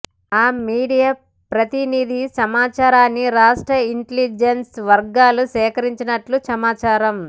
ఆ మీడియా ప్రతినిధి సమాచారాన్ని రాష్ట్ర ఇంటెలిజన్స్ వర్గాలు సేకరించినట్లు సమాచారం